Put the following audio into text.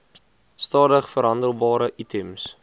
stadig verhandelbare items